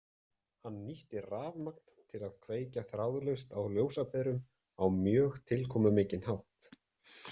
Hann nýtti rafmagn til að kveikja þráðlaust á ljósaperum á mjög tilkomumikinn hátt.